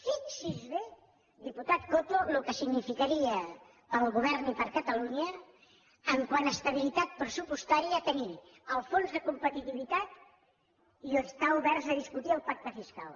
fixi’s bé diputat coto el que significaria per al govern i per a catalunya quant a estabilitat pressupostària tenir el fons de competitivitat i estar oberts a discutir el pacte fiscal